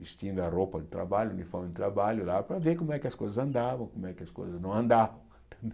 vestindo a roupa de trabalho, uniforme de trabalho lá, para ver como é que as coisas andavam, como é que as coisas não andavam.